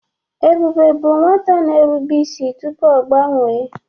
Ebube bụ nwata na-erube isi tupu ọ gbanwee.